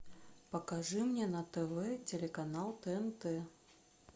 покажи мне на тв телеканал тнт